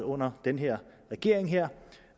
under den her regering